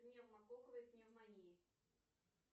пневмококковой пневмонии